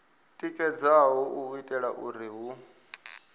tikedzaho u itela uri hu